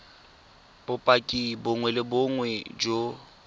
bopaki bongwe le bongwe jo